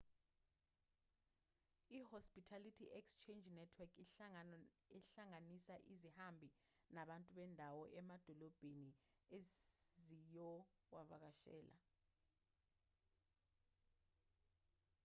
i-hospitality exchange network inhlangano ehlanganisa izihambi nabantu bendawo emadolobheni eziyowavakashela